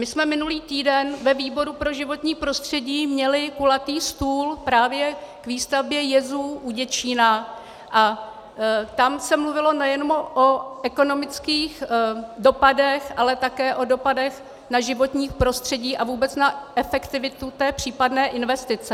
My jsme minulý týden ve výboru pro životní prostředí měli kulatý stůl právě k výstavbě jezu u Děčína a tam se mluvilo nejenom o ekonomických dopadech, ale také o dopadech na životní prostředí a vůbec na efektivitu té případné investice.